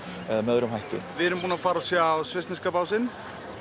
öðrum hætti við erum búin að sjá svissneska básinn